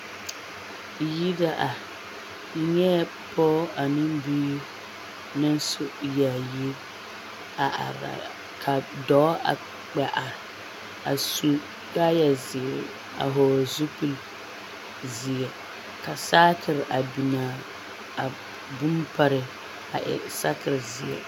Yiri la are, n nyɛɛ pɔge ane biiri naŋ su yaayi a are ka dɔɔ wa are a su kaaya zeere a hɔɔle zupili zeɛ ka saakiri a biŋaa a bone paree a e saakiri zeɛ.